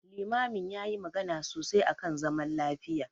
Limamin yayi magana sosai akan zaman lafiya.